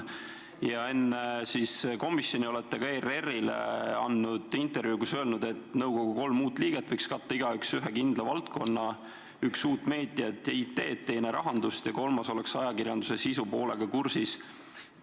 Ja enne komisjoni olete ka ERR-ile andnud intervjuu, kus olete öelnud, et nõukogu kolm uut liiget võiks igaüks katta ühe kindla valdkonna: üks tunneks uut meediat ja IT-d, teine rahandust ning kolmas võiks olla ajakirjanduse sisupoolega kursis.